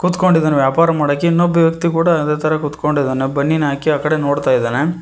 ಕುತ್ಕೊಂಡಿದ್ದಾನೆ ವ್ಯಾಪಾರ ಮಾಡೋಕೆ ಇನ್ನೊಬ್ಬ ವ್ಯಕ್ತಿ ಕೂಡ ಅದೇ ತರ ಕೂತ್ಕೊಂಡಿದ್ದಾನೆ ಬನೀನ್ ಹಾಕಿ ಆ ಕಡೆ ನೋಡ್ತಾ ಇದ್ದಾನೆ.